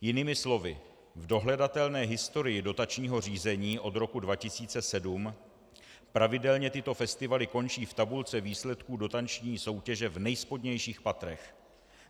Jinými slovy, v dohledatelné historii dotačního řízení od roku 2007 pravidelně tyto festivaly končí v tabulce výsledků dotační soutěže v nejspodnějších patrech.